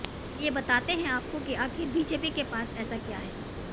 चलिए बताते हैं आपको की आखिर बीजेपी के पास ऐसा क्या है